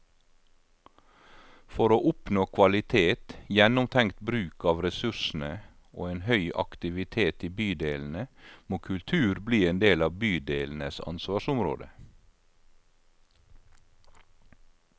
For å oppnå kvalitet, gjennomtenkt bruk av ressursene og en høy aktivitet i bydelene, må kultur bli en del av bydelenes ansvarsområde.